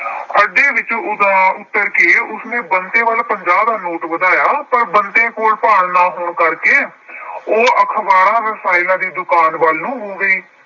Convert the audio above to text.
ਅੱਡੇ ਵਿੱਚ ਉੱਤਰ ਕੇ ਉਸਨੇ ਬੰਤੇ ਵੱਲ ਪੰਜਾਹ ਦਾ ਨੋਟ ਵਧਾਇਆ ਪਰ ਬੰਤੇ ਕੋਲ ਭਾਨ ਹੋ ਕਰਕੇ ਉਹ ਅਖਬਾਰਾਂ, ਰਸਾਲਿਆਂ ਵਾਲੀ ਦੁਕਾਨ ਵੱਲ ਨੂੰ ਹੋ ਗਈ।